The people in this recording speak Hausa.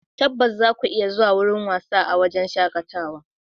Tabbas, zaku iya zuwa wasa a wurin shakatawa.